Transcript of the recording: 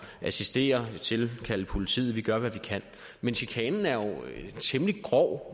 at assistere og tilkalde politiet vi gør hvad vi kan men chikanen er jo temmelig grov